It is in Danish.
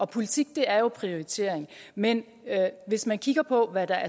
politik er jo prioritering men hvis man kigger på hvad der